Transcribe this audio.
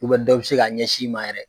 dɔ bɛ se k'a ɲɛsin i ma yɛrɛ.